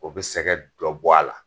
O bɛ sɛgɛ dɔ bɔ a la.